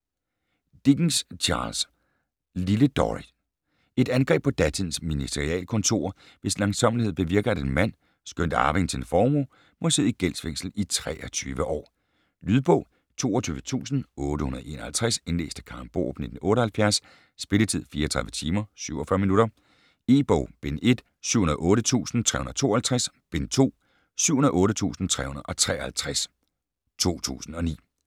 Dickens, Charles: Lille Dorrit Et angreb på datidens ministerialkontorer, hvis langsommelighed bevirker, at en mand, skønt arving til en formue, må sidde i gældsfængsel i 23 år. Lydbog 22851 Indlæst af Karen Borup, 1978. Spilletid: 34 timer, 47 minutter E-bog bind 1: 708352, bind 2: 708353 2009.